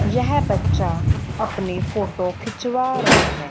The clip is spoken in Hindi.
यह बच्चा अपनी फोटो खिंचवा रहा है।